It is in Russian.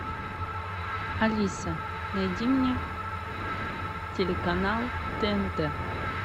алиса найди мне телеканал тнт